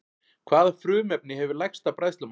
Hvaða frumefni hefur lægsta bræðslumark?